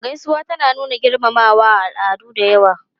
Gaisuwa tana nuna girmamawa a al'adu da yawa.